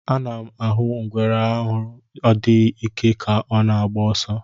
A nam ahụ ngwere arụ adịghị ike ka ọ na agba ọsọ.